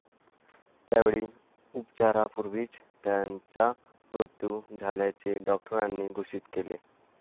त्यावेळी उपचारापूर्वीच त्याचा मृत्यू झाल्याचे डॉक्टरांनी घोषित केले.